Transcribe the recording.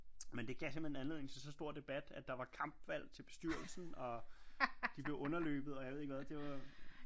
Men det gav simpelthen anledning til så stor debat at der var kampvalg til bestyrelsen og de blev underløbet og jeg ved ikke hvad